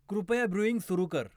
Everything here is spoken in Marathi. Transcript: कृपया ब्ऱ्यूइंग सुरू कर